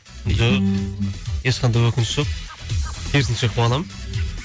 жоқ ешқандай өкініш жоқ керісінше қуанамын